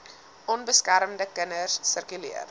onbeskermde kinders sirkuleer